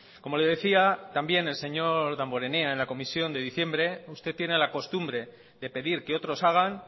como le decía también el señor damborenea en la comisión de diciembre usted tiene la costumbre de pedir que otros hagan